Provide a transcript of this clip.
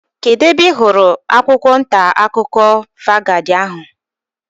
Kedụ ebe ị hụrụ akwụkwọ ntaakụkọ vangaad ahu?